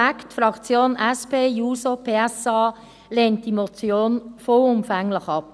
Die Fraktion SP-JUSO-PSA lehnt diese Motion vollumfänglich ab.